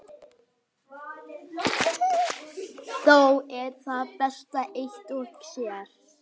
Þó er það best eitt og sér.